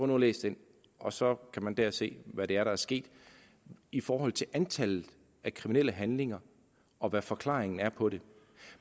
nu at læse den og så kan man der se hvad det er der er sket i forhold til antallet af kriminelle handlinger og hvad forklaringen er på det